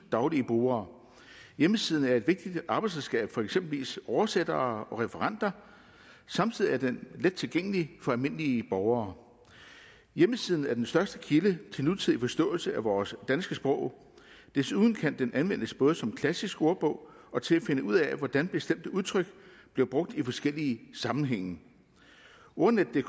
daglige brugere hjemmesiden er et vigtigt arbejdsredskab for eksempelvis oversættere og referenter samtidig er den let tilgængelig for almindelige borgere hjemmesiden er den største kilde til nutidig forståelse af vores danske sprog desuden kan den anvendes både som klassisk ordbog og til at finde ud af hvordan bestemte udtryk bliver brugt i forskellige sammenhænge ordnetdk